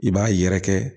I b'a yɛrɛkɛ